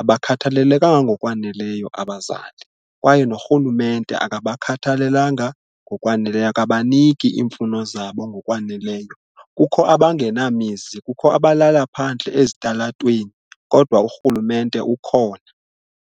Abakhathalelekanga ngokwaneleyo abazali kwaye norhulumente akabakhathalelanga ngokwaneleyo, akabaniki iimfuno zabo ngokwaneleyo, kukho abangenamizi, kukho abalala phandle ezitalatweni kodwa urhulumente ukhona.